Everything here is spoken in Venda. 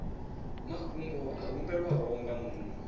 mafhungo a humbelwaho nga muṅwe